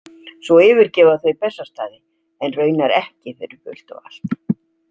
Svo yfirgefa þau Bessastaði en raunar ekki fyrir fullt og allt.